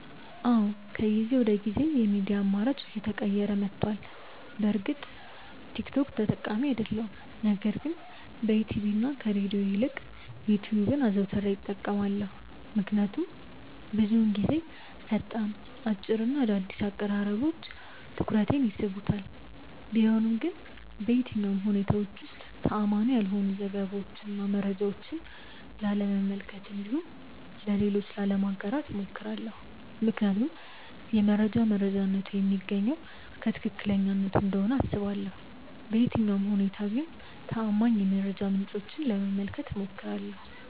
አዎ ከጊዜ ወደ ጊዜ የሚዲያ አማራጬ እየተቀየረ መቷል። በእርግጥ ቲክ ቶክ ተጠቃሚ አይደለሁም ነገር ግን በቲቪ እና ከሬድዮ ይልቅ ዩትዩብን አዘውትሬ እጠቀማለሁ። ምክንያቱም ብዙውን ጊዜ ፈጣን፣ አጭር እና አዳዲስ አቀራረቦች ትኩረቴን ይስቡታል። ቢሆንም ግን በየትኛውም ሁኔታዎች ውስጥ ተአማኒ ያልሆኑ ዘገባዎችን እና መረጃዎችን ላለመመልከት እንዲሁም ለሌሎች ላለማጋራት እሞክራለሁ። ምክንያቱም የመረጃ መረጃነቱ የሚገኘው ከትክክለኛነቱ እንደሆነ አስባለሁ። በየትኛውም ሁኔታ ግን ተአማኒ የመረጃ ምንጮችን ለመመልከት እሞክራለሁ።